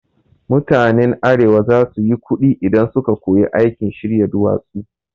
Mutanen arewa za su yi kuɗi idan su ka koyi aikin shirya duwatsu